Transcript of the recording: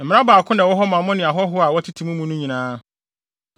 Mmara baako na ɛwɔ hɔ ma mo ne ahɔho a wɔtete mo mu no nyinaa.’ ”